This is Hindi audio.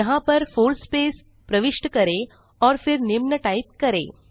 यहाँ पर 4 स्पेस प्रविष्ट करें और फिर निम्न टाइप करें